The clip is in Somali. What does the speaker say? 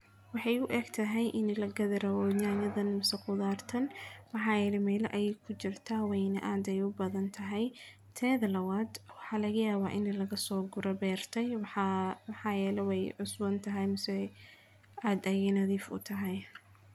Waxay u eg tahay in la gada rawooyinayaan nimmasa khudaartan. Waxaa yidhi meelo ay ku jirta wayni aad ay u badan tahay, teeda la waad waxa laga yaabaa inay lagasoo gurbeertay. Waxaa waxaa yalaway usboon tahay misso ay aad ay nadiif u tahay.